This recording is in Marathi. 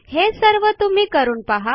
हे सर्व तुम्ही करून पहा